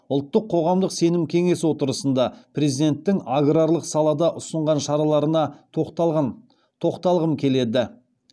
ұлттық қоғамдық сенім кеңес отырысында президенттің аграрлық салада ұсынған шараларына тоқталғым келеді